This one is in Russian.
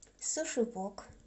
суши вок